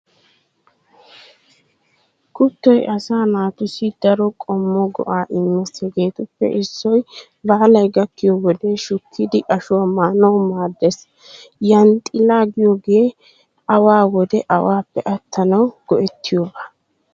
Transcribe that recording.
Kuttoy asaa naatussi daro qommo go'aa immees hegeetuppe issoy baalay gakkiyo wode shukkidi ashuwaa maanawu maaddees. Yanxxilaa giyoogee awaa wode awaappe attanawu go'ettiyooba.